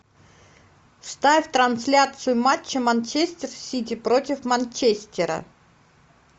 ставь трансляцию матча манчестер сити против манчестера